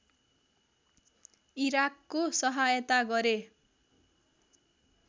इराकको सहायता गरे